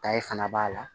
fana b'a la